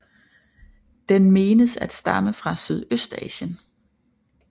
Den menes at stamme fra Sydøstasien